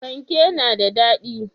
Fanke na da dadi?